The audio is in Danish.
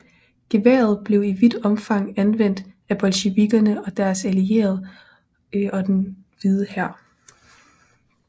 Geværet blev i vidt omfang anvendt af bolsjevikkerne og deres allierede og den Hvide Hær